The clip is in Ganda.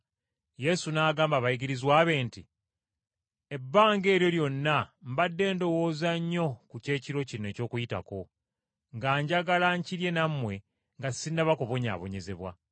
Yesu n’agamba abayigirizwa be nti, “Ebbanga eryo lyonna mbadde ndowooza nnyo ku Kyekiro kino eky’Okuyitako, nga njagala nkirye nammwe nga sinnaba kubonyaabonyezebwa.